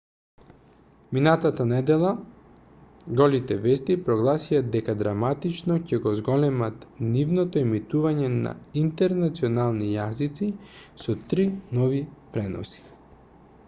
минатата недела голите вести прогласија дека драматично ќе го зголемат нивното емитување на интернационални јазици со три нови преноси